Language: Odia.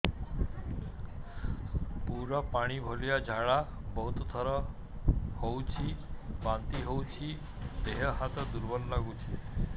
ପୁରା ପାଣି ଭଳିଆ ଝାଡା ବହୁତ ଥର ହଉଛି ବାନ୍ତି ହଉଚି ଦେହ ହାତ ଦୁର୍ବଳ ଲାଗୁଚି